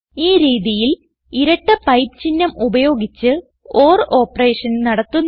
ഈ രീതിയിൽ ഇരട്ട പൈപ്പ് ചിഹ്നം ഉപയോഗിച്ച് ഓർ ഓപ്പറേഷൻ നടത്തുന്നു